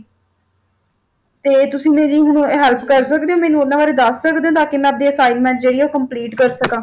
ਤੇ ਤੁਸੀਂ ਮੇਰੀ ਹੁਣ help ਕਰ ਸਕਦੇ ਹੋ ਮੈਨੂੰ ਉਨ੍ਹਾਂ ਬਾਰੇ ਦੱਸ ਸਕਦੇ ਤਾਂ ਕਿ ਮੈਂ ਆਪਣੀ assignment ਜਿਹੜੀ ਆ ਉਹ complete ਕਰ ਸਕਾਂ।